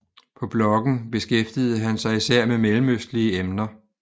På bloggen beskæftigede han sig især med mellemøstlige emner